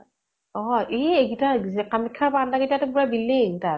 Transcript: অ । ই এইকেইটা যে। কামাখ্যা পান্ডা কেইটাৰ তো পুৰা building তাত